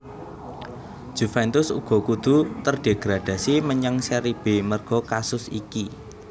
Juventus uga kudu terdegradasi menyang Seri B merga kasus iki